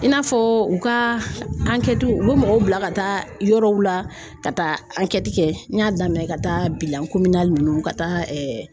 I n'a fɔ u ka u bɛ mɔgɔw bila ka taa yɔrɔw la ka taa kɛ n y'a daminɛ ka taa ninnu ka taa